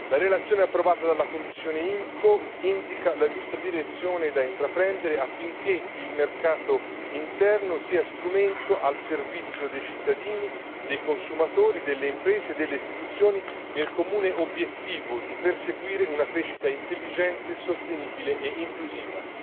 La relazione approvata dalla commissione IMCO indica la giusta direzione da intraprendere affinché il mercato interno sia strumento al servizio dei cittadini, dei consumatori, delle imprese e delle istituzioni, nel comune obiettivo di perseguire una crescita intelligente, sostenibile e inclusiva.